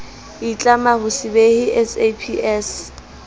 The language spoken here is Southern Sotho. itlama ho se behe saps